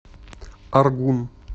аргун